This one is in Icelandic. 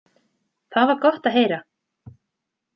Það var gott að heyra.